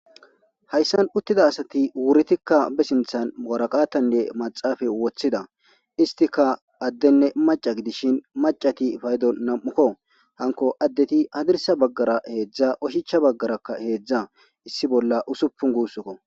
Hayssan uttida asati wuritikka be sinthan muwaraqatanne maxaafa woththida istika addenne maca gidishin macati paydo nam'ukko hanko addeti hadirsa baggara heedzdza oshicha baggaraka heedzdza issi bolla usupun guussnkko.